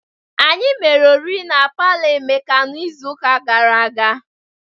Anyị mere oriri na palọ Emeka n'izu ụka gara aga.